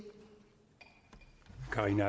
er en